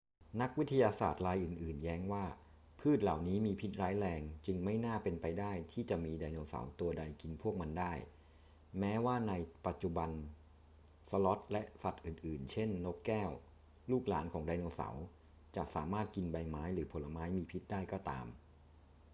นักวิทยาศาสตร์รายอื่น ๆ แย้งว่าพืชเหล่านี้มีพิษร้ายแรง จึงไม่น่าเป็นไปได้ที่จะมีไดโนเสาร์ตัวใดกินพวกมันได้ แม้ว่าในปัจจุบันสลอธและสัตว์อื่น ๆ เช่น นกแก้ว ลูกหลานของไดโนเสาร์ จะสามารถกินใบไม้หรือผลไม้มีพิษได้ก็ตาม